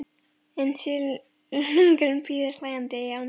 En silungurinn bíður hlæjandi í ánni.